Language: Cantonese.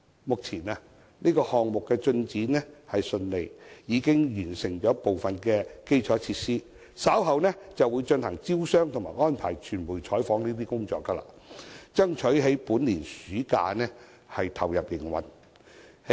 目前，項目進展順利，部分基礎設施已經完成，稍後便會進行招商和安排傳媒採訪等工作，目標是爭取在本年暑假投入營運。